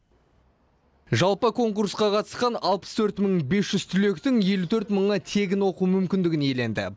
жалпы конкурсқа қатысқан алпыс төрт мың бес жүз түлектің елу төрт мыңы тегін оқу мүмкіндігін иеленді